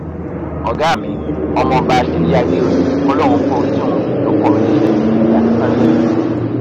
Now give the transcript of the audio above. ọgá mi ọmọọba ṣèyí àdèòye kọlọrun forí jì wọn ló kọ mi níṣẹ èmi àti sànyérì